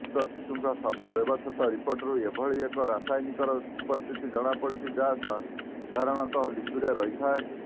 ମୃତ ଶିଶୁଙ୍କ ଶବ ବ୍ୟବଚ୍ଛେଦ ରିପୋର୍ଟରୁ ଏଭଳି ଏକ ରସାୟନିକର ଉପସ୍ଥିତି ଜଣାପଡିଛି ଯାହା ସାଧାରଣତଃ ଲିଚୁରେ ରହିଥାଏ